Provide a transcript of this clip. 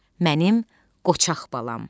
Mənim qoçaq balam.